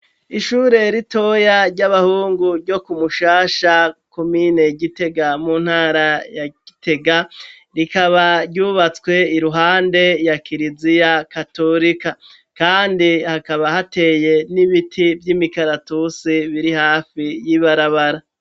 Ishure ritoya ry'abahungu ryo ku mushasha komine gitega mu ntara ya gitega ,rikaba ryubatswe iruhande ya kiriziya katolika kandi hakaba hateye n'ibiti vy'imikaratusi biri hafi y'ibarabara.